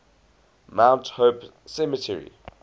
mount hope cemetery